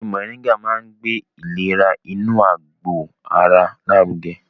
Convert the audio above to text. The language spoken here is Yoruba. Ewé Mọ̀ríngà máa ń gbé ìlera inú àgbò ara lárugẹ